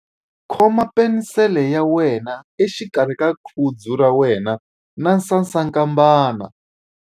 Khoma penisele ya wena exikarhi ka khudzu ra wena na sasankambana.